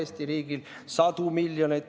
Sadu miljoneid!